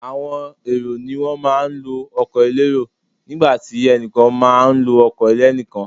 Àwọn èrò ni wọ́n má a ń lo ọkọ̀ elérò nígbàtí ẹnìkan má a nlo ọkọ̀ ẹlẹ́nìkan